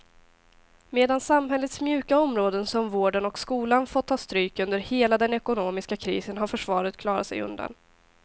Medan samhällets mjuka områden som vården och skolan fått ta stryk under hela den ekonomiska krisen har försvaret klarat sig undan.